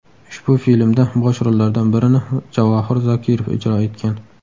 Ushbu filmda bosh rollardan birini Javohir Zokirov ijro etgan.